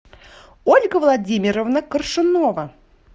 ольга владимировна коршунова